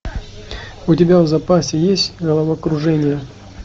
у тебя в запасе есть головокружение